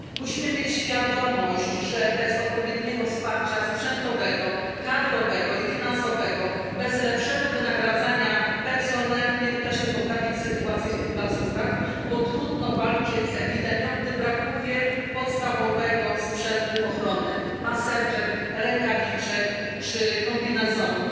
Musimy mieć świadomość, że bez odpowiedniego wsparcia sprzętowego, kadrowego i finansowego, bez lepszego wynagradzania personelu nie uda się poprawić sytuacji w tych placówkach, bo trudno walczyć z epidemią, gdy brakuje podstawowego sprzętu ochrony maseczek, rękawiczek czy kombinezonów.